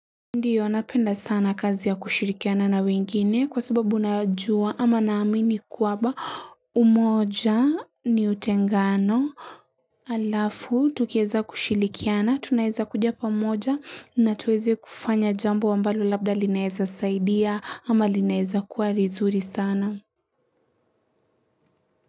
Ndiyo napenda sana kazi ya kushirikiana na wengine kwa sababu najua ama naamini kwamba umoja ni utengano alafu tukiweza kushirikiana tunaweza kuja pamoja na tuweze kufanya jambo ambalo labda linaweza saidia ama linaweza kuwa lizuri sana.